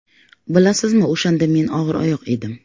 Bilasizmi, o‘shanda men og‘iroyoq edim.